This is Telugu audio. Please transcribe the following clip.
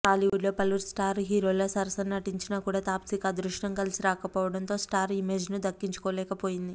టాలీవుడ్లో పలువురు స్టార్ హీరోల సరసన నటించినా కూడా తాప్సికి అదృష్టం కలిసి రాకపోవడంతో స్టార్ ఇమేజ్ను దక్కించుకోలేక పోయింది